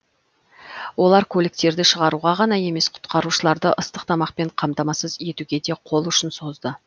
олар көліктерді шығаруға ғана емес құтқарушыларды ыстық тамақпен қамтамасыз етуге де қол ұшын созды